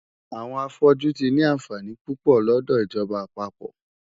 Àwọn afọ́jú tí ni àǹfààní púpọ̀ lọ́dọ̀ ìjọba àpapọ̀.